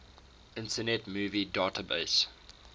internet movie database